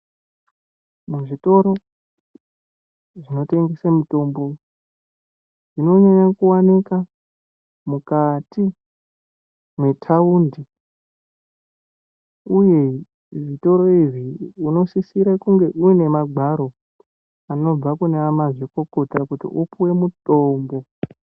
Muzvitoro zvinotengese mitombo zvinonyanye kuwanikwa mukati metaundi uye zvitoro izvi unosisira uine magwaro anobva kunamazvikokota kuti upiwe mitombo.